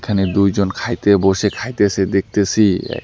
এখানে দুইজন খাইতে বসে খাইতেসে দেখতেসি এক--